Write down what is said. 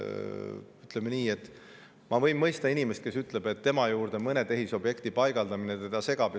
Ütleme nii, et ma võin mõista inimest, kes ütleb, et tema juurde mõne tehisobjekti paigaldamine teda segab.